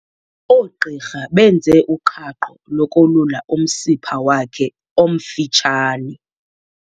Oogqirha benze uqhaqho lokolula umsipha wakhe omfutshane.